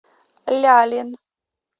лялин